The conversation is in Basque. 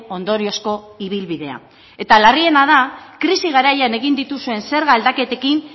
ondoriozko ibilbidea eta larriena da krisi garaian egin dituzuen zerga aldaketekin